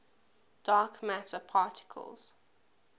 dark matter particles